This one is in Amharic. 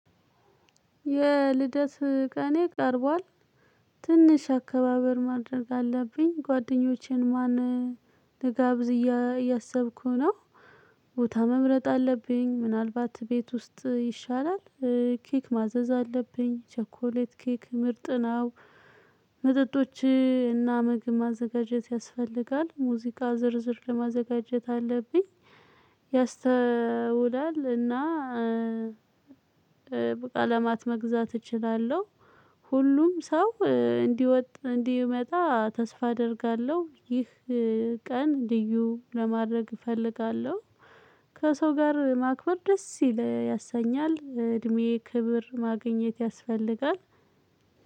የልደት ቀኔ ቀርቧል ትንሽ አከባበር ማድረግ አለብኝ ጓደኞቼን ማን ልጋብዝ እያሰብኩ ነው። ቦታ መምረጥ አለብኝ ምናልባት ቤት ውስጥ ይሻላል። ኬክ ማዘዝ አለብኝ ቸኮሌት ኬክ ምርጥ ነው። መጠጦችና ምግብ ማዘጋጀት ያስፈልጋል ሙዚቃ ዝርዝር ለማዘጋጀት አለብኝ። ያስተውላል እና በቃ ለማት መግዛት እችላለሁ። ሁሉም ሰው እንዲወጥ እንዲመጣ ተስፋ አደርጋለሁ። ይህ ቀን ልዩ ለማድረግ እፈልጋለሁ። ከሰው ጋር ማክበር ደስ ይል ያሰኛል እድሜ ክብር ማግኘት ያስፈልጋል።